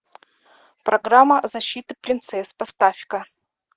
программа защиты принцесс поставь ка